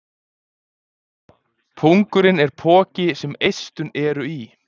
pungurinn er poki sem eistun eru í